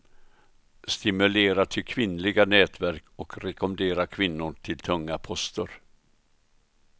Stimulera till kvinnliga nätverk och rekommendera kvinnor till tunga poster.